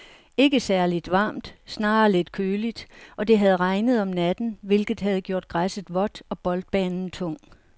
Ikke særligt varmt, snarere lidt køligt, og det havde regnet om natten, hvilket havde gjort græsset vådt og boldbanen tung.